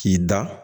K'i da